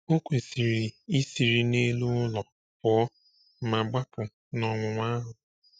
O kwesịrị isiri n’elu ụlọ pụọ ma gbapụ n’ọnwụnwa ahụ.